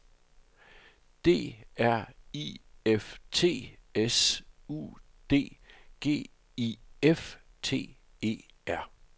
D R I F T S U D G I F T E R